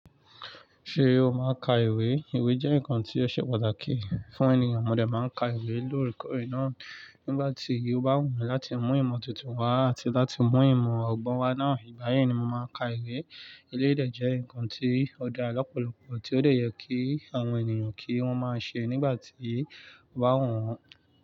Ṣé o máa ka ìwé? Ìwé jẹ́ nǹkan tí ó ṣe pàtàkì fún ènìyàn. Mo dè máa ka ìwé lóòrèkóòrè náà nígbà tí o bá wùmi láti mú ìmọ̀ tuntun wá àti láti mú ìmọ̀ ọ̀gbọn wa náà igbayì. Ní mo máa n ka ìwé. Eléyi jẹ́ ǹkan tí ó dára lọ́pọ̀lọpọ̀ tí ó dè yẹ kí àwọn ènìyàn kí wọ́n máa ṣe nígbà tí o ba wù wọ́n.